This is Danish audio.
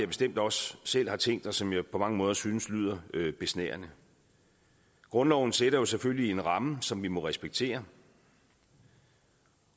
bestemt også selv har tænkt og som jeg på mange måder synes lyder besnærende grundloven sætter selvfølgelig en ramme som vi må respektere